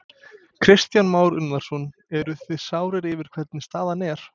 Kristján Már Unnarsson: Eruð þið sárir yfir hvernig staðan er?